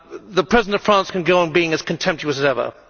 The President of France can go on being as contemptuous as ever.